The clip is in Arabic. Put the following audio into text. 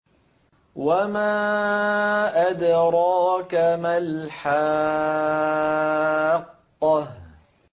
وَمَا أَدْرَاكَ مَا الْحَاقَّةُ